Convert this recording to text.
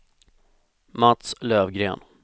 Mats Löfgren